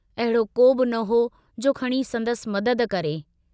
अहिड़ो कोबि न हो जो खणी संदसि मदद करे।